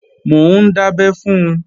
Mò ń dábẹ́ fun